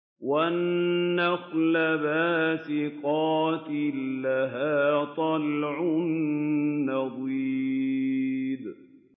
وَالنَّخْلَ بَاسِقَاتٍ لَّهَا طَلْعٌ نَّضِيدٌ